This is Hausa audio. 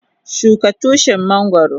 Shuka Tushin mangoro.